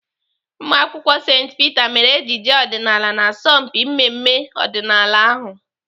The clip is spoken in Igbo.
Ụmụakwụkwọ St Peter mere ejije ọdịnaala n'asọmpi mmemme ọdịnala ahụ.